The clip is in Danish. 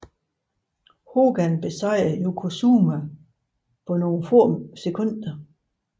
Hogan besejrede Yokozuna på nogle få sekunder